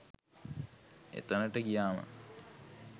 එතනට ගියාම